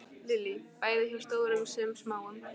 Lillý: Bæði hjá stórum sem smáum?